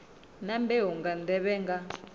na mbeu nga nḓevhe nga